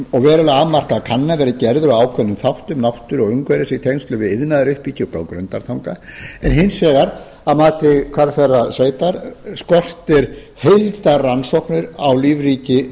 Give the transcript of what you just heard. og verulega afmarkaðar kannanir verið gerðar á ákveðnum þáttum náttúru og umhverfis í tengslum við iðnaðaruppbyggingu á grundartanga en hins vegar að mati hvalfjarðarsveitar skortir heildarrannsóknir á lífríki